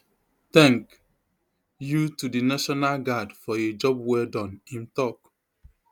tank you to di national guard for a job well Accepted im tok